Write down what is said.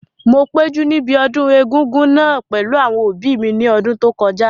Mo péjú níbi ọdún egúngún náà pẹ̀lú àwọn òbí mi ní ọdún tó kọjá